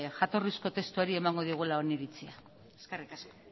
jatorrizko testuari emango diogula oniritzia eskerrik asko